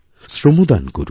শ্রমদান করুন